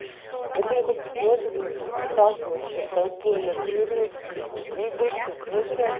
поэтому как бы сложно мне блин а так бы вообще толпой на природе блять как грибочков сожрать